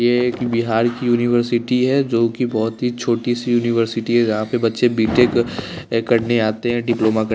ये एक बिहार की यूनिवर्सिटी है जो कि बहुत ही छोटी सी यूनिवर्सिटी है जहाँ पे बच्चे बी_टेक ए करने आते हैं डिप्लोमा कर --